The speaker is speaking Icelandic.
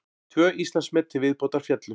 Tvö Íslandsmet til viðbótar féllu